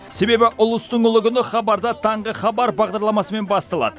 себебі ұлыстың ұлы күні хабарда таңғы хабар бағдарламасымен басталады